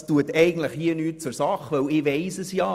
Das tut hier eigentlich nichts zur Sache, denn ich weiss es ja.